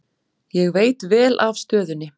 Ég veit vel af stöðunni.